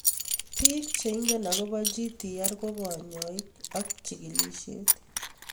Pik che ingen akopo Gtr ko kanyoik ak ch chigilishe